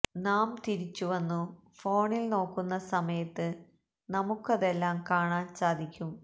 നാം തിരിച്ചു വന്നു ഫോണിൽ നോക്കുന്ന സമയത്ത് നമുക്കതെല്ലാം കാണാൻ സാധിക്കും